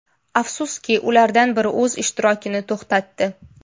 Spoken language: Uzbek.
Afsuski, ulardan biri o‘z ishtirokini to‘xtatdi.